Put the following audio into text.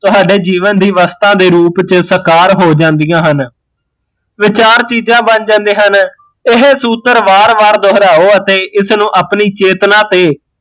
ਤੁਹਾਡੇ ਜੀਵਨ ਦੀ ਅਵਸਥਾ ਦੇ ਰੂਪ ਚ ਸਾਕਾਰ ਹੋ ਜਾਂਦੀਆ ਹਨ ਵਿਚਾਰ ਚੀਜ਼ਾਂ ਬਣ ਜਾਂਦੇ ਹਨ, ਇਹ ਸੂਤਰ ਵਾਰ ਵਾਰ ਦੁਹਰਾਹੋ ਅਤੇ ਇਸ ਨੂ ਆਪਣੀ ਚੇਤਨਾ ਤੇ